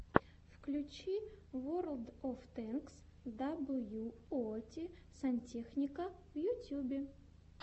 включи ворлд оф тэнкс даблюоути сантехника в ютьюбе